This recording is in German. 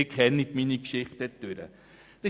Sie kennen meine Haltung dazu.